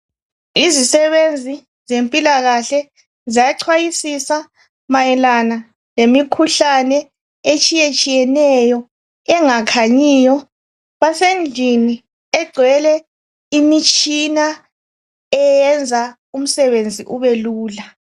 Izisebenzi zempilakahle ziyachwayisisa mayelana ngemikhuhlane etshiyetshiyeneyo engakhanyiyo ,basendlini egcwele imitshina eyenza umsebenzi ube lula.